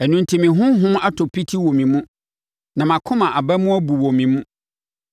Ɛno enti me honhom atɔ piti wɔ me mu; na mʼakoma aba mu abu wɔ me mu.